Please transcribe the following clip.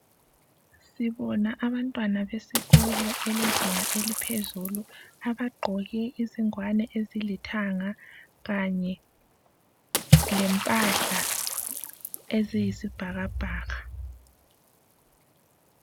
Sibona abantwana besikolo elezinga eliphezulu abegqoke izingwane ezilithanga kanye lempahla eziyisibhakabhaka.